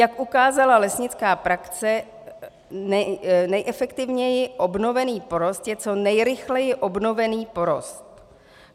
Jak ukázala lesnická praxe, nejefektivněji obnovený porost je co nejrychleji obnovený porost.